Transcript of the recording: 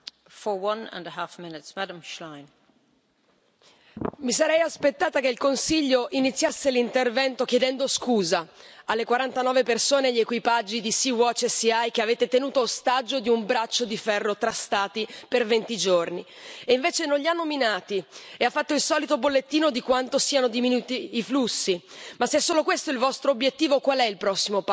Signora Presidente, onorevoli colleghi, mi sarei aspettata che il Consiglio iniziasse l'intervento chiedendo scusa alle 49 persone e agli equipaggi di e che avete tenuto ostaggio di un braccio di ferro tra Stati per venti giorni. E invece non li ha nominati e ha fatto il solito bollettino di quanto siano diminuiti i flussi, ma se solo questo è il vostro obiettivo, qual è il prossimo passo?